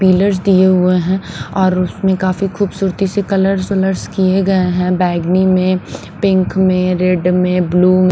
Pillar दिए हुए हैं और उसमें काफी खूबसूरती से कलर शलर्स किए गए हैं बैगनी में पिंक में रेड में ब्लू में।